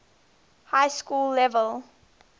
high school level